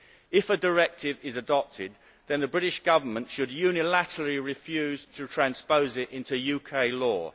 If a directive is adopted, then the British Government should unilaterally refuse to transpose it into UK law.